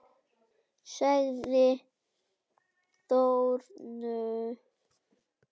Sagði Þórunn!